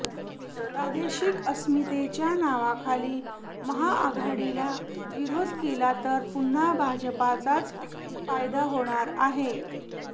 प्रादेशिक अस्मितेच्या नावाखाली महाआघाडीला विरोध केला तर पुन्हा भाजपचाच फायदा होणार आहे